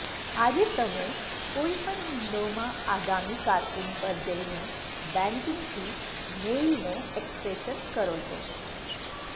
આજે તમે કોઈ પણ વિંડોમાં આગામી કારકુન પર જઈને બૅન્કિંગથી મેઇલને એક્સપ્રેશન કરો છો